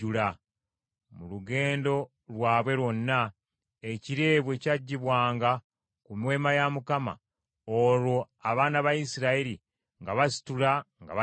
Mu lugendo lwabwe lwonna, ekire bwe kyaggyibwanga ku Weema ya Mukama , olwo abaana ba Isirayiri nga basitula nga batambula;